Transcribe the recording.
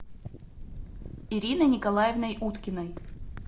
ириной николаевной уткиной